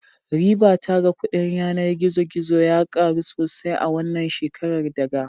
Ribata ga kudin yanar gizo gizo ya karu sosai a wannan shekara daga